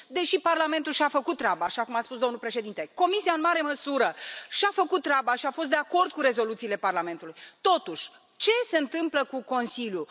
Deși Parlamentul și a făcut treaba, așa cum a spus domnul președinte, Comisia în mare măsură și a făcut treaba și a fost de acord cu rezoluțiile Parlamentului, totuși, ce se întâmplă cu Consiliul?